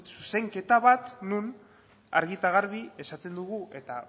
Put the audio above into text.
zuzenketa bat non argi eta garbi esaten dugu eta